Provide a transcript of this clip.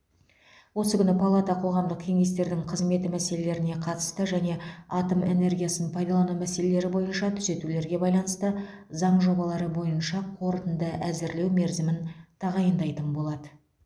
осы күні палата қоғамдық кеңестердің қызметі мәселелеріне қатысты және атом энергиясын пайдалану мәселелері бойынша түзетулерге байланысты заң жобалары бойынша қорытынды әзірлеу мерзімін тағайындайтын болады